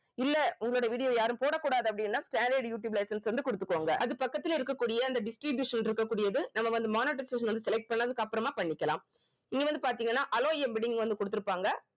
இல்ல உங்களோட video வ யாரும் போடக்கூடாது அப்படின்னா standard யூட்டியூப் license வந்து குடுத்துக்கோங்க அது பக்கத்துல இருக்கக்கூடிய அந்த distribution இருக்க கூடியது நம்ம வந்து monetization வந்து select பண்ணதுக்கு அப்புறமா பண்ணிக்கலாம் இங்க வந்து பார்த்தீங்கன்னா allow வந்து குடுத்திருப்பாங்க